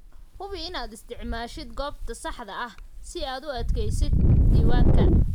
Hubi inaad isticmaashid goobta saxda ah si aad u kaydisid diiwaanka